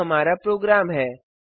यहाँ हमारा प्रोग्राम है